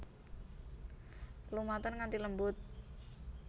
Lumaten nganti lembut